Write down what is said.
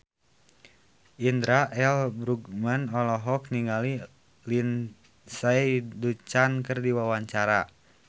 Indra L. Bruggman olohok ningali Lindsay Ducan keur diwawancara